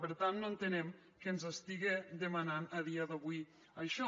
per tant no entenem que ens estiga demanant a dia d’avui això